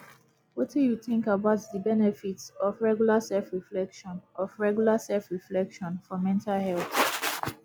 wetin you think about di benefits of regular selfreflection of regular selfreflection for mental health